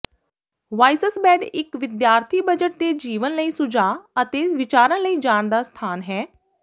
ਵਾਈਸਸਬੈੱਡ ਇੱਕ ਵਿਦਿਆਰਥੀ ਬਜਟ ਤੇ ਜੀਵਨ ਲਈ ਸੁਝਾਅ ਅਤੇ ਵਿਚਾਰਾਂ ਲਈ ਜਾਣ ਦਾ ਸਥਾਨ ਹੈ